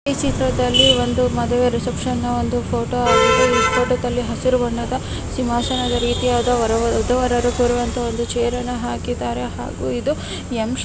ಈ ಚಿತ್ರದಲ್ಲಿ ಒಂದು ಮದುವೆ ರಿಸೆಪ್ಶನ್ ಒಂದು ಫೋಟೋ ಆಗಿದ್ದು ಈ ಫೋಟೋ ದಲ್ಲಿ ಹಸಿರು ಬಣ್ಣದ ಸಿಂಹಾಸನ ರೀತಿಯ ವರ ವದು ವರರು ಕೂರುವಂಥ ಒಂದು ಚೈರ್ ಅನ್ನು ಹಾಕಿದ್ದಾರೆ ಹಾಗು ಇದು ಎಮ್ ಶೇ --